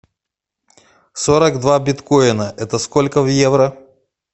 сорок два биткоина это сколько в евро